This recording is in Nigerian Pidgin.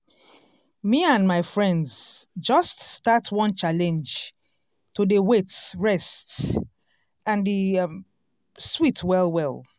me and my friends just start one challenge to dey wait rest and e um sweet well well.